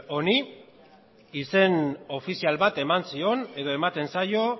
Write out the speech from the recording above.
honi izen ofizial bat eman zion edo ematen zaio